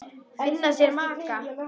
Finna sér maka.